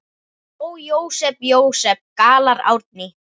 Ó, Jósep, Jósep, galar Árný.